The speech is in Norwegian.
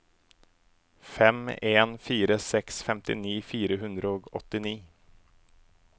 fem en fire seks femtini fire hundre og åttini